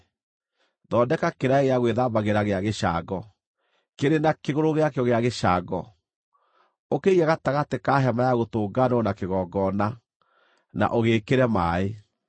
“Thondeka kĩraĩ gĩa gwĩthambagĩra gĩa gĩcango, kĩrĩ na kĩgũrũ gĩakĩo gĩa gĩcango. Ũkĩige gatagatĩ ka Hema-ya-Gũtũnganwo na kĩgongona, na ũgĩĩkĩre maaĩ.